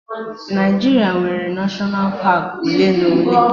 Naijiria nwere neshọnal paak ole na ole